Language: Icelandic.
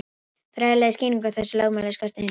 Fræðilega skýringu á þessu lögmáli skorti hins vegar.